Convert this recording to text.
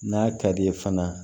N'a ka d'i ye fana